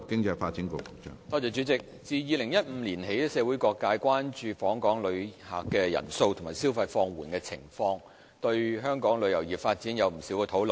主席，自2015年起，社會各界關注訪港旅客人數和消費放緩的情況，並對香港旅遊業發展有不少討論。